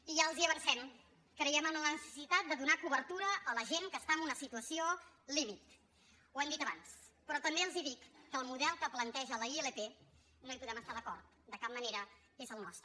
i ja els ho avancem creiem en la necessitat de donar cobertura a la gent que està en una situació límit ho hem dit abans però també els dic que amb el model que planteja la ilp no hi podem estar d’acord de cap manera és el nostre